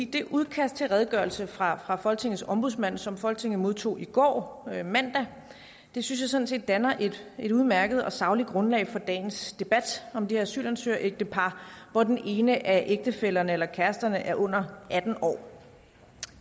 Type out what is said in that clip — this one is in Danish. det udkast til redegørelse fra fra folketingets ombudsmand som folketinget modtog i går mandag synes jeg sådan set danner et udmærket og sagligt grundlag for dagens debat om det asylansøgerægtepar hvor den ene af ægtefællerne eller kæresterne er under atten år